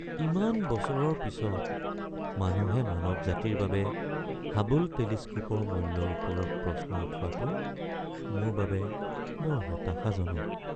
ইমান বছৰৰ পিছত মানুহে মানৱ জাতিৰ বাবে হাবল টেলিস্কোপৰ মূল্যৰ ওপৰত প্ৰশ্ন উঠোৱাটো মোৰ বাবে বৰ হতাশাজনক।